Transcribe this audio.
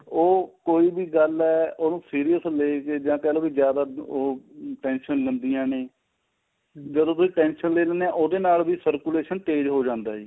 ਉਹ ਕੋਈ ਵੀ ਗੱਲ ਏ ਉਹਨੂੰ serious ਲੈਕੇ ਜਾਂ ਕਹਿਲੋ ਵੀ ਜਿਆਦਾ ਉਹ tension ਲੈਂਦੀਆਂ ਨੇ ਜਦੋਂ ਕੋਈ tension ਲੈ ਲਿੰਨੇ ਹਾਂ ਉਹਦੇ ਨਾਲ ਵੀ circulation ਤੇਜ ਹੋ ਜਾਂਦਾ ਏ